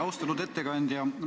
Austatud ettekandja!